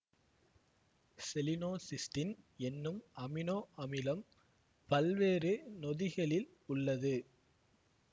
selenocysteine என்னும் amino அமிலம் பல்வேறு நொதிகளில் உள்ளது